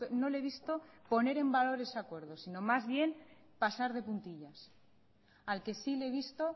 no le he visto poner en valores acuerdos sino más bien pasar de puntillas al que sí le he visto